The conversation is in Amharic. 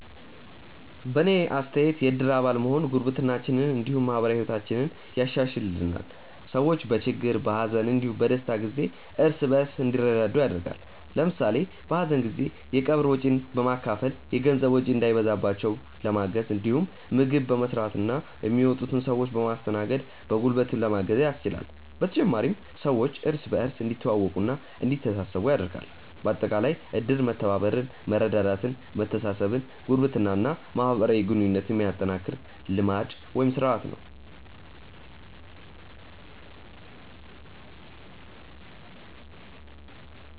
በእኔ አስተያየት የእድር አባል መሆን ጉርብትናችንን እንዲሁም ማህበራዊ ህይወታችንን ያሻሻሽልልናል። ሰዎች በችግር፣ በሀዘን እንዲሁም በደስታ ጊዜ እርስ በእርስ እንዲረዳዱ ያደርጋል። ለምሳሌ በሀዘን ጊዜ የቀብር ወጪን በመካፈል የገንዘብ ወጪ እንዳይበዛባቸው ለማገዝ እንዲሁም ምግብ በመስራትና የሚመጡትን ሰዎች በማስተናገድ በጉልበትም ለማገዝ ያስችላል። በተጨማሪም ሰዎች እርስ በእርስ እንዲተዋወቁና እንዲተሳሰቡ ያደርጋል። በአጠቃላይ እድር መተባበርን፣ መረዳዳትን፣ መተሳሰብን፣ ጉርብትናን እና ማህበራዊ ግንኙነትን የሚያጠናክር ልማድ (ስርአት) ነው።